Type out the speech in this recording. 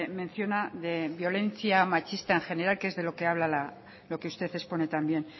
menciona de violencia machista en general que es de lo que habla lo que usted expone también